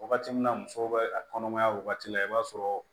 Wagati min na muso bɛ a kɔnɔmaya wagati la i b'a sɔrɔ